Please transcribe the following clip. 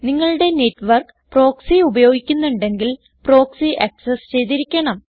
നിങ്ങളുടെ network proxy ഉപയോഗിക്കുന്നുണ്ടെങ്കിൽ proxy access ചെയ്തിരിക്കണം